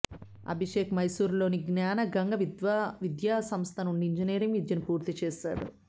అభిషేక్ మైసూరులోని జ్ఞానగంగ విద్యా సంస్థ నుండి ఇంజనీరింగ్ విద్యను పూర్తి చేశాడు